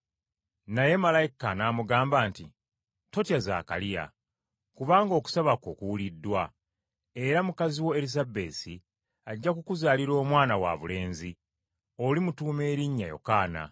Naye malayika n’amugamba nti, “Totya Zaakaliya! Kubanga okusaba kwo kuwuliddwa, era mukazi wo Erisabesi ajja kukuzaalira omwana wabulenzi. Olimutuuma erinnya Yokaana.